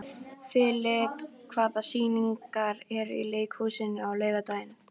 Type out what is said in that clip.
Filip, hvaða sýningar eru í leikhúsinu á laugardaginn?